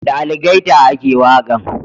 Da algaita a ke waƙan